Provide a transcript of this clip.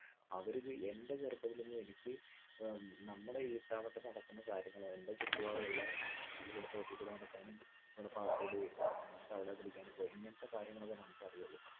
അവര് എൻ്റെ ചെറുപ്പത്തിലൊന്നും എനിക്ക് ഏർ നമ്മടെ ഈ ഇട്ടാവട്ടം നടക്കുന്ന കാര്യങ്ങൾ എൻ്റെ ചുറ്റുപാടുമുള്ള നമ്മടെ തൊട്ടീക്കൂടെ നടക്കാനും നമ്മടെ പാടത്തൂടെ തവളെ പിടിക്കാനും ഇപ്പൊ ഇങ്ങനത്തെ കാര്യങ്ങളൊക്കെ നമ്മുക്ക് അറിയൊള്ളു